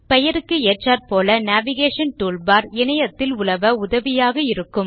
பெயருக்கு ஏற்றார்போல navigation toolbar இணையத்தில் உலவ உதவியாக இருக்கும்